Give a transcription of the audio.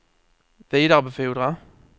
vidarebefordra